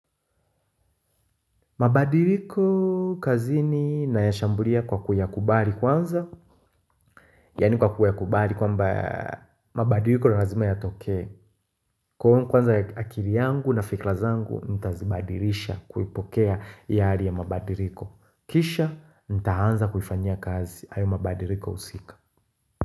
Mabadiriko kazini nayashambulia kwa kuyakubari kwanza Yani kwa kuyakubari kwamba mabadiriko ni razima yatokee Kwanza ya akili yangu na fikra zangu ntazibadirisha kuipokea hii hali ya mabadiriko Kisha ntaanza kuifanyia kazi hayo mabadiriko husika.